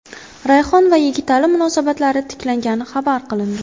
Rayhon va Yigitali munosabatlari tiklangani xabar qilindi.